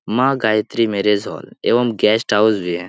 माँ Gayatri marriage hall एवं guest house भी है।